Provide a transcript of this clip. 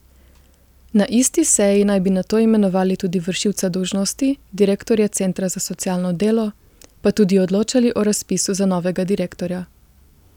Na isti seji naj bi nato imenovali tudi vršilca dolžnosti direktorja centra za socialno delo, pa tudi odločali o razpisu za novega direktorja.